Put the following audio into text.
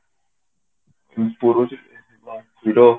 hero